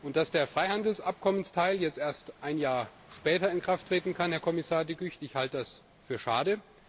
Dass der Freihandelsabkommensteil jetzt erst ein Jahr später in Kraft treten kann, Herr Kommissar De Gucht, halte ich für schade.